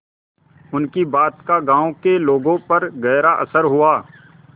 उनकी बात का गांव के लोगों पर गहरा असर हुआ